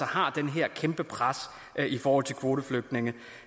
har det her kæmpe pres i forhold til kvoteflygtninge